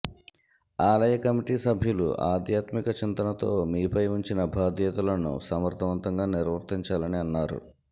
ఆలయ కమిటి సభ్యులు ఆధ్యాత్మిక చింతనతో మీ పై ఉంచిన భాధ్యతలను సమర్థవంతంగా నిర్వర్తించాలని అన్నారు